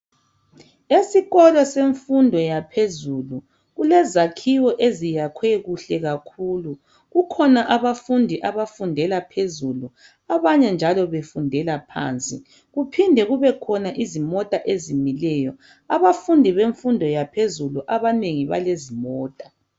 esikolo semfundo yaphezulu kulezakhiwo ezinhle kakhulu kukhona abafundi abafundela phezulu abanye njalo befundela phansi kuphinde kube khona izimota ezimileyo abafundi bemfundi yaphezulu abanengi balezimota